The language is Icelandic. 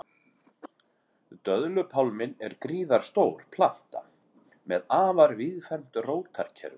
Döðlupálminn er gríðarstór planta með afar víðfeðmt rótarkerfi.